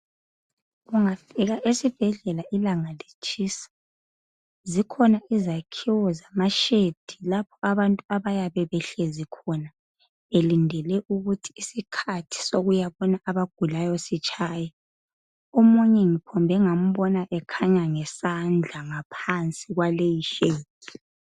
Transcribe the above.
ungafika esibhedlela ilanga litshisa zikhona izakhiwo zama shedi lapha abantu abayaba behlezi khona belindele ukuthi isikhathi sokuyabona abagulayo sitshaye omunye ngiphombe ngambona ekhanya ngesandla phansi kwaleyi shedi.